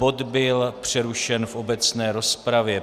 Bod byl přerušen v obecné rozpravě.